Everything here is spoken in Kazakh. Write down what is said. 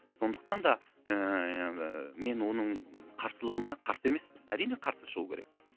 сондықтан да ыыы мен оның қарсылығына қарсы емеспін әрине қарсы шығу керек